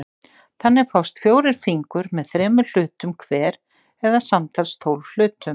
Þannig fást fjórir fingur með þremur hlutum hver eða samtals tólf hlutum.